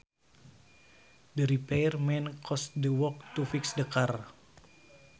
The repair man costed the work to fix the car